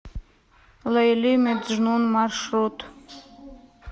лейли меджнун маршрут